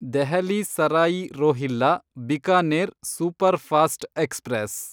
Delhi Sarai Rohilla Bikaner superfast express